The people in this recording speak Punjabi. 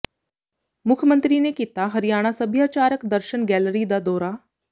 ਮੁੱਖ ਮੰਤਰੀ ਨੇ ਕੀਤਾ ਹਰਿਆਣਾ ਸੱਭਿਆਚਾਰਕ ਦਰਸ਼ਨ ਗੈਲਰੀ ਦਾ ਦੌਰਾ